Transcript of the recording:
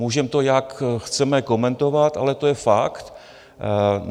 Můžeme to, jak chceme komentovat, ale to je fakt.